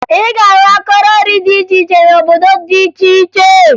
Ị ga-ahụ akọrọ nri dị iche iche n'obodo dị iche iche